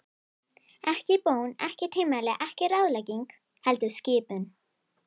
Ekki bón, ekki tilmæli, ekki ráðlegging, heldur skipun.